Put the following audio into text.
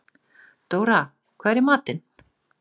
Dóra, hvað er í matinn?